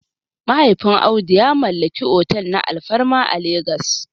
Mahaifin Audu ya mallaki otel na alfarma a Legas